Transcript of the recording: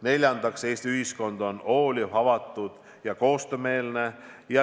Neljandaks, Eesti ühiskond on hooliv, avatud ja koostöömeelne.